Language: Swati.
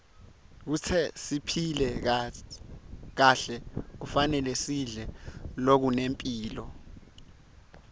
kute siphile kahle kufanele sidle lokunemphilo